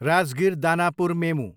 Rajgir, Danapur मेमु